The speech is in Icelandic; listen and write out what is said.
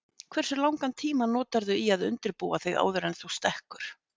Hversu langan tíma notarðu í að undirbúa þig áður en þú stekkur?